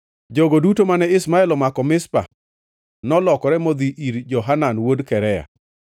Jogo duto mane Ishmael omako Mizpa nolokore modhi ir Johanan wuod Karea.